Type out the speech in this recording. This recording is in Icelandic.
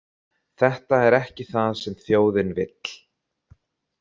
Þetta er ekki það sem þjóðin vill.